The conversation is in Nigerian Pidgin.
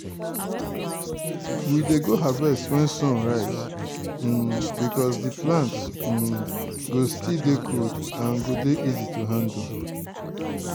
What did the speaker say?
we dey go harvest wen sun rise um becos di plants um go still dey cold and go dey easy to handle.